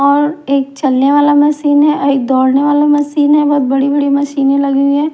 और एक चलने वाला मशीन हैं और एक दौड़ने वाला मशीन हैं बहोत बड़ी बड़ी मशीनें लगी हुई हैं।